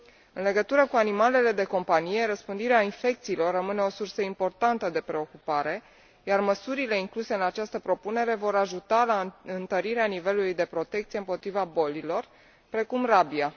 În legătură cu animalele de companie, răspândirea infecțiilor rămâne o sursă importantă de preocupare, iar măsurile incluse în această propunere vor ajuta la întărirea nivelului de protecție împotriva bolilor, precum rabia.